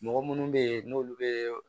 Mɔgɔ munnu be yen n'olu be